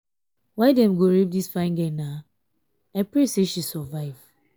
why dem go rape dis fine girl. i pray say she survive.